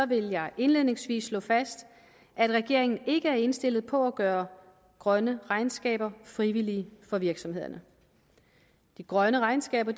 vil jeg indledningsvis slå fast at regeringen ikke er indstillet på at gøre grønne regnskaber frivillige for virksomhederne de grønne regnskaber